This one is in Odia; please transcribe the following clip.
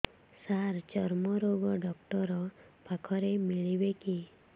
ସାର ଚର୍ମରୋଗ ଡକ୍ଟର ପାଖରେ ମିଳିବେ କି